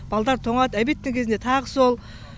балдар тоңады обедтің кезінде тағы сол